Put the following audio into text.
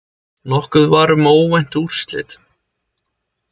Nokkuð var um óvænt úrslit